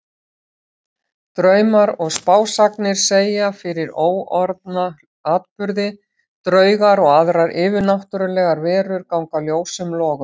Draumar og spásagnir segja fyrir óorðna atburði, draugar og aðrar yfirnáttúrlegar verur ganga ljósum logum.